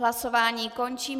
Hlasování končím.